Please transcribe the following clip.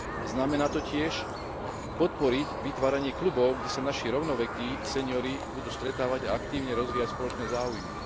Znamená to tiež podporiť vytváranie klubov, kde sa naši rovnovekí seňori budú stretávať a aktívne rozvíjať spoločné záujmy.